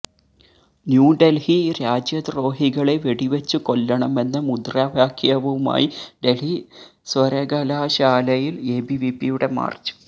ന്യൂഡല്ഹി രാജ്യദ്രോഹികളെ വെടിവെച്ചു കൊല്ലണമെന്ന മുദ്രാവാക്യവുമായി ഡല്ഹി സര്വകലാശാലയില് എബിവിപിയുടെ മാര്ച്ച്